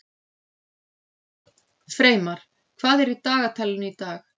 Freymar, hvað er í dagatalinu í dag?